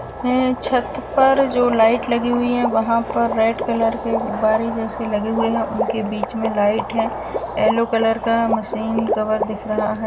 है छत पर जो लाइट लगी हुई है वहाँ पर रेड कलर के गुब्बारे जैसे लगे हुए हैं। उनके बीच में लाइट है एलो कलर का। मशीन कवर दिख रहा है।